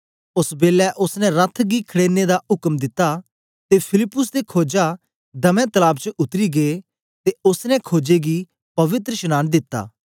ओस बेलै ओसने रथ गी खड़ेरने दा उक्म दिता ते फिलिप्पुस ते खोजे दमै तलाब च उतरी गै ते ओसने खोजा गी पवित्रशनांन दिता